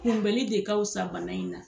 Kunbɛli de kafisa bana in na.